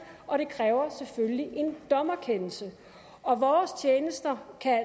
og det kræver selvfølgelig en dommerkendelse og vores tjenester kan